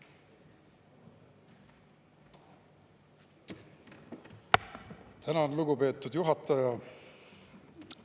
Tänan, lugupeetud juhataja!